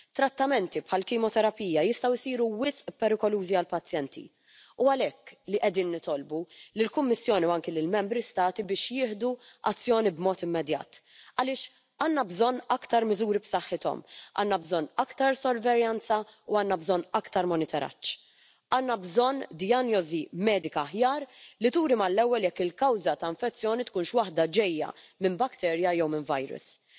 in sommige delen van de wereld bij de fabricage van medicijnen grote hoeveelheden antibioticum nog in het milieu gedumpt via het afvalwater. Buiten de EU wordt in de veehouderij antibioticum nog steeds ingezet als groeibevorderaar om goedkoop vlees te produceren. Dat is beangstigend en dat moet anders als je bedenkt dat de werking van het antibioticum hierdoor snel achteruit gaat en dat wij simpele en veel voorkomende ziektes en infecties niet meer kunnen behandelen. Daar komt bij dat er sinds 1987 geen onderzoek is geweest naar antibioticum en dat er geen